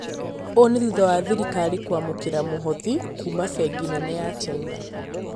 Ũũ nĩ thutha wa thirikari kwamũkĩra mũhothi kuuma bengi nene ya china